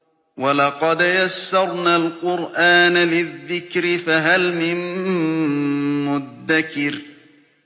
وَلَقَدْ يَسَّرْنَا الْقُرْآنَ لِلذِّكْرِ فَهَلْ مِن مُّدَّكِرٍ